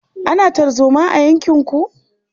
Ana tarzoma a yankinku?